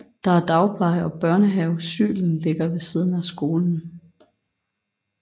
Der er dagpleje og børnehaven Sylen ligger ved siden af skolen